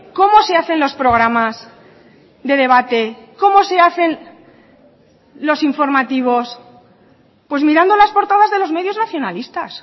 cómo se hacen los programas de debate cómo se hacen los informativos pues mirando las portadas de los medios nacionalistas